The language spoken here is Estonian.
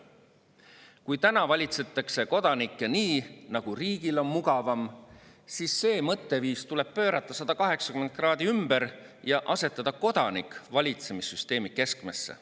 Kui täna valitsetakse kodanikke nii, nagu riigil on mugavam, siis see mõtteviis tuleb pöörata 180 kraadi ümber ja asetada kodanik valitsemissüsteemi keskmesse.